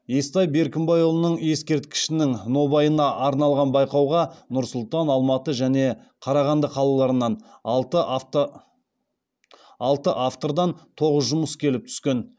естай беркімбайұлының ескерткішінің нобайына арналған байқауға нұр сұлтан алматы және қарағанды қалаларынан алты автордан тоғыз жұмыс келіп түскен